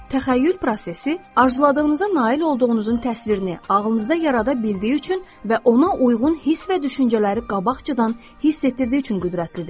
Təxəyyül prosesi arzuladığınıza nail olduğunuzun təsvirini ağlınızda yarada bildiyi üçün və ona uyğun hiss və düşüncələri qabaqcadan hiss etdirdiyi üçün qüdrətlidir.